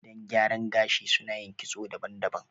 Gidan gyaran gashi suna yin kitso daban-daban